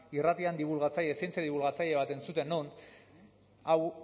irratian dibulgatzaile zientzia dibulgatzaile bat entzuten nuen hau